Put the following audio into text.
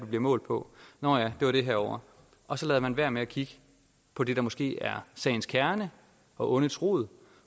bliver målt på nå ja det var det herovre og så lader man være med at kigge på det der måske er sagens kerne og ondets rod